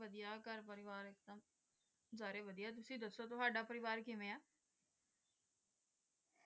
ਘਰ ਪਰਿਵਾਰ ਸਾਰੇ ਵਧੀਆ ਤੁਸੀਂ ਦੱਸੋ ਤੁਹਾਡਾ ਪਰਿਵਾਰ ਕਿਵੇਂ ਆ